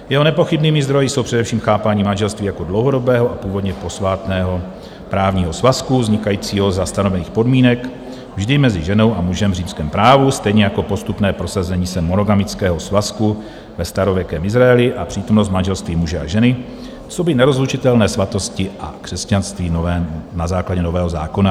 Jeho nepochybnými zdroji jsou především chápání manželství jako dlouhodobého a původně posvátného právního svazku vznikajícího za stanovených podmínek vždy mezi ženou a mužem v římském právu, stejně jako postupné prosazení se monogamického svazku ve starověkém Izraeli a přítomnost manželství muže a ženy coby nerozlučitelné svátosti v křesťanství na základě Nového zákona.